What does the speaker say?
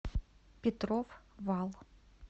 петров вал